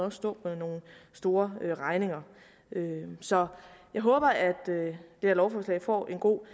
at stå med nogle store regninger så jeg håber at det her lovforslag får en god